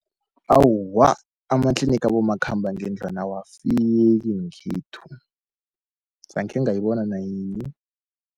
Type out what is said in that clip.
Awa, amatlinigi abomakhambangendlwana awafiki ngekhethu zankhe ngayibona nayinye.